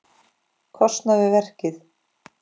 kostnað við verkið.